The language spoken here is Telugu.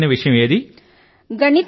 మీకు ఇష్టమైన విషయం ఏది